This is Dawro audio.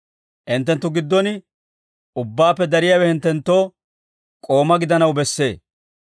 Hinttenttu giddon ubbaappe dariyaawe hinttenttoo k'ooma gidanaw bessee.